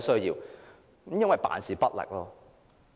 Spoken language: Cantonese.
因為政府辦事不力。